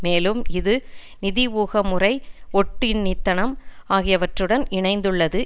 மேலும் இது நிதி ஊகமுறை ஒட்டுண்ணித்தனம் ஆகியவற்றுடனும் இணைந்துள்ளது